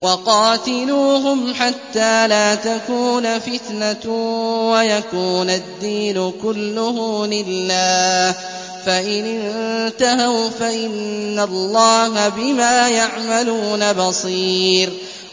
وَقَاتِلُوهُمْ حَتَّىٰ لَا تَكُونَ فِتْنَةٌ وَيَكُونَ الدِّينُ كُلُّهُ لِلَّهِ ۚ فَإِنِ انتَهَوْا فَإِنَّ اللَّهَ بِمَا يَعْمَلُونَ بَصِيرٌ